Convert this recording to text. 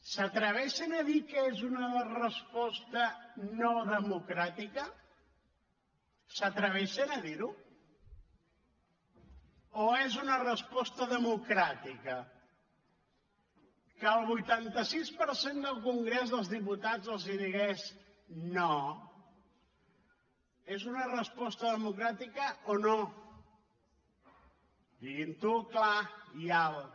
s’atreveixen a dir que és una resposta no democràtica s’atreveixen a dirho o és una resposta democràtica que el vuitanta sis per cent del congrés dels diputats els digués no és una resposta democràtica o no diguinho clar i alt